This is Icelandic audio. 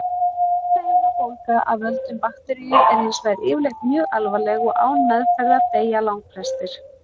Heilahimnubólga af völdum bakteríu er hins vegar yfirleitt mjög alvarleg og án meðferðar deyja langflestir.